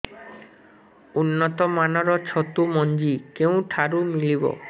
ଉନ୍ନତ ମାନର ଛତୁ ମଞ୍ଜି କେଉଁ ଠାରୁ ମିଳିବ